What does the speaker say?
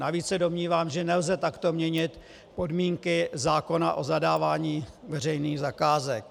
Navíc se domnívám, že nelze takto měnit podmínky zákona o zadávání veřejných zakázek.